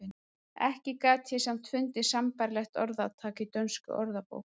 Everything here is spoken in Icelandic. Ekki gat ég samt fundið sambærilegt orðtak í dönskum orðabókum.